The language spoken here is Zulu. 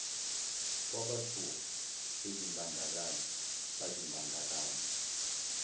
kwabathuka bezimbandakanya bazimbandakanye